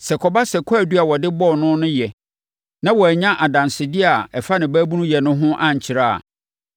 Sɛ ɛkɔba sɛ kwaadu a wɔde bɔɔ no no yɛ, na wɔannya adansedeɛ a ɛfa ne baabunuyɛ no ho ankyerɛ a,